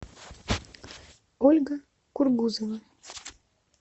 ольга кургузова